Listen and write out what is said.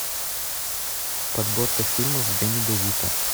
подборка фильмов с дэнни де вито